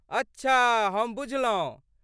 अच्छा, हम बुझलहुँ।